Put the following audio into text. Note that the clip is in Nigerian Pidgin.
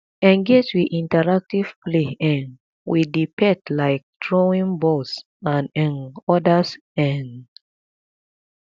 engage with interactive play um with di pet like throwing balls and um odas um